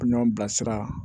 Ɲɔn bilasira